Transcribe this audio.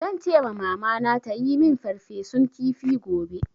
Zan ce ma Mamana ta yi min farfesun kifi gobe.